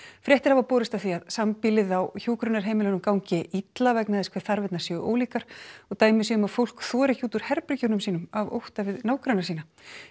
fréttir hafa borist af því að sambýlið á hjúkrunarheimilum gangi illa vegna þess hve þarfirnar séu ólíkar og dæmi séu um að fólk þori ekki út úr herbergjum sínum af ótta við nágranna sína